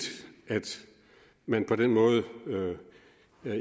at man på den måde